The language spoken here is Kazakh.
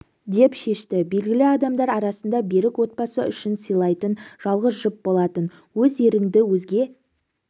деп шешті белгілі адамдар арасында берік отбасы үшін сыйлайтын жалғыз жұп болатын өз еріңді өзге